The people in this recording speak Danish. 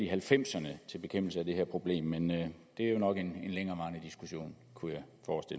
halvfemserne til bekæmpelse af det her problem men det er jo nok en længere diskussion kunne